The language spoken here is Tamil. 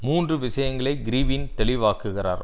மூன்று விஷயங்களை கிறிவின் தெளிவாக்குகிறார்